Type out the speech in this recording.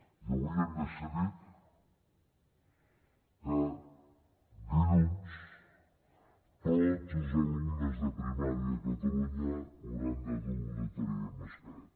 i avui hem decidit que dilluns tots els alumnes de primària a catalunya hauran de dur obligatòriament mascareta